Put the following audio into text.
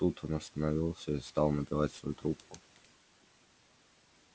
тут он остановился и стал набивать свою трубку